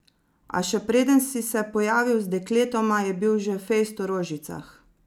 A še preden si se pojavil z dekletoma, je bil že fejst v rožicah.